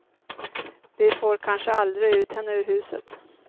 Vi får kanske aldrig ut henne ur huset.